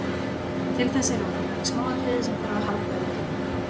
Til þess eru of mörg smáatriði sem þarf að halda utanum.